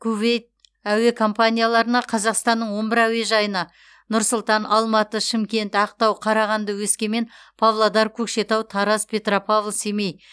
кувейт әуе компанияларына қазақстанның он бір әуежайына нұр сұлтан алматы шымкент ақтау қарағанды өскемен павлодар көкшетау тараз петропавл семей